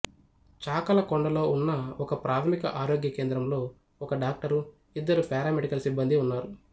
చాకలకొండలో ఉన్న ఒకప్రాథమిక ఆరోగ్య కేంద్రంలో ఒక డాక్టరు ఇద్దరు పారామెడికల్ సిబ్బందీ ఉన్నారు